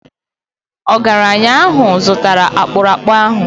Ọgaranya ahụ zụtara akpụrụakpụ ahụ